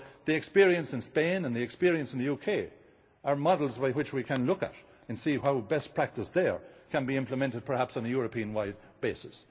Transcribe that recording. chain. So the experience in Spain and the experience in the UK are models we can look at and see how best practice there can be implemented, perhaps, on a European wide